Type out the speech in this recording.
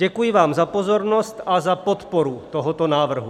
Děkuji vám za pozornost a za podporu tohoto návrhu.